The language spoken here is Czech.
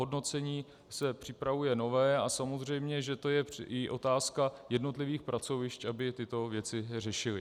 Hodnocení se připravuje nové a samozřejmě že to je i otázka jednotlivých pracovišť, aby tyto věci řešila.